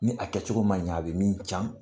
Ni a kɛ cogo man ɲɛ a bɛ min can